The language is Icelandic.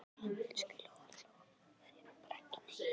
Elsku Lóa-Lóa, segðu bara ekki neitt.